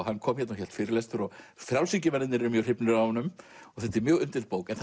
hann kom hérna og hélt fyrirlestur frjálshyggjumennirnir eru mjög hrifnir af honum mjög umdeild bók en